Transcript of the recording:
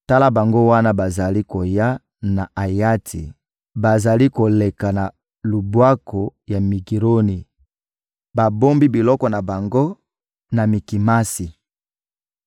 Tala bango wana bazali koya na Ayati, bazali koleka na lubwaku ya Migironi, babombi biloko na bango na Mikimasi.